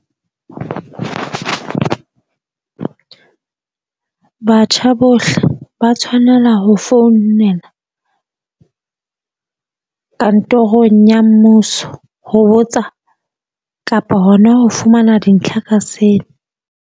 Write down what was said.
Batjha bohle ba tshwanela ho founela kantorong ya mmuso ho botsa kapa hona ho fumana dintlha ka seo.